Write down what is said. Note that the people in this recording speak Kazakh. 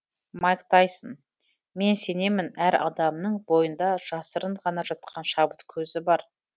майк тайсон мен сенемін әр адамның бойында жасырын ғана жатқан шабыт көзі бар